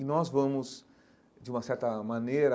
E nós vamos, de uma certa maneira,